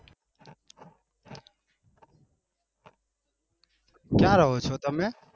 ક્યા રહો છો તમે?